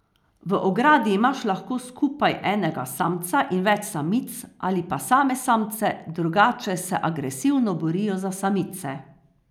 V ogradi imaš lahko skupaj enega samca in več samic ali pa same samce, drugače se agresivno borijo za samice.